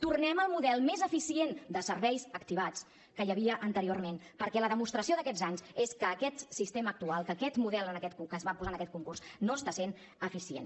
tornem al model més eficient de serveis activats que hi havia anteriorment perquè la demostració d’aquests anys és que aquest sistema actual que aquest model que es va posar en aquest concurs no està sent eficient